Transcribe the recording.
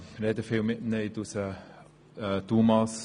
Ich rede viel mit diesen Menschen.